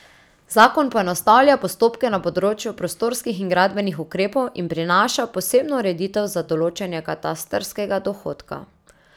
Zakon poenostavlja postopke na področju prostorskih in gradbenih ukrepov in prinaša posebno ureditev za določanje katastrskega dohodka.